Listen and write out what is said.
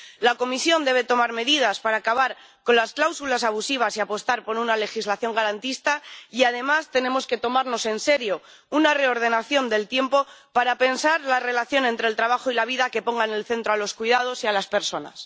La Comisión debe tomar medidas para acabar con las cláusulas abusivas y apostar por una legislación garantista y, además, tenemos que tomarnos en serio una reordenación del tiempo para pensar la relación entre el trabajo y la vida que ponga en el centro a los cuidados y a las personas.